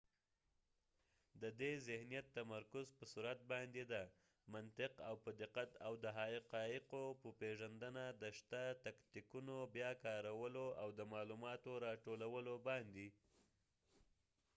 ددې ذهنیت تمرکز په سرعت باندي دي . منطق او په دقت ،او د حقایقو په پیژندنه ، د شته تکنیکونو بیا کارولو او د معلوماتو را ټولولو باندي